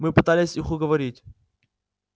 мы пытались их уговорить